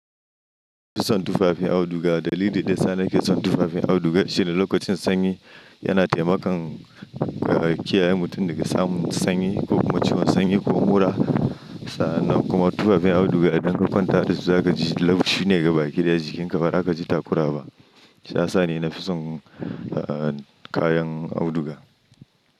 Fitson tufafin auduga dalili ɗaya sa nake son tufafin auduga shine lokacin sanyi yana taimakan ka kiyaye mutum daga samun sanyi ko kuma ciwon sanyi ko mura. Sannan kuma tufafin auduga idan ka kwanta da su za kaji laushi ne gaba ki ɗaya jikinka ba za ka ji takura ba. Shi ya sa ni na fi son a an kayan auduga.